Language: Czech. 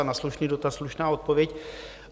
A na slušný dotaz slušná odpověď.